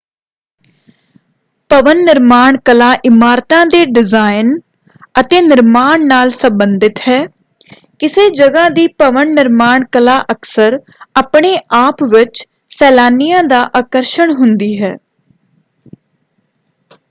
ਭਵਨ ਨਿਰਮਾਣ ਕਲਾ ਇਮਾਰਤਾਂ ਦੇ ਡਿਜ਼ਾਈਨ ਅਤੇ ਨਿਰਮਾਣ ਨਾਲ ਸੰਬੰਧਿਤ ਹੈ। ਕਿਸੇ ਜਗ੍ਹਾ ਦੀ ਭਵਨ ਨਿਰਮਾਣ ਕਲਾ ਅਕਸਰ ਆਪਣੇ-ਆਪ ਵਿੱਚ ਸੈਲਾਨੀਆਂ ਦਾ ਆਕਰਸ਼ਣ ਹੁੰਦੀ ਹੈ।